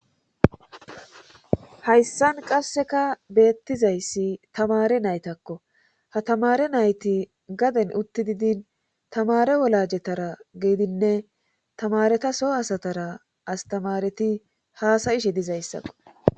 Hayssan qasseka beettizayssi tamare naytakko ha tamare nayti gaden utti didin tamare wolajetara geedinne tamareta so asatara astamareti haasayishe dizayssakko.